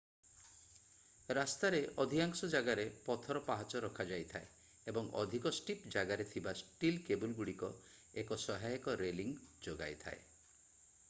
ରାସ୍ତା ରେ ଅଧିକାଂଶ ଜାଗାରେ ପଥର ପାହାଚ ରଖାଯାଇଥାଏ ଏବଂ ଅଧିକ ଷ୍ଟିପ ଜାଗାରେ ଥିବା ଷ୍ଟିଲ୍ କେବୁଲଗୁଡିକ ଏକ ସହାୟକ ରେଲିଙ୍ଗ ଯୋଗାଇଥାଏ